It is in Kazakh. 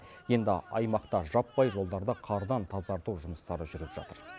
енді аймақта жаппай жолдарды қардан тазарту жұмыстары жүріп жатыр